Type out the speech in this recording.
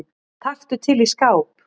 Taktu til í skáp.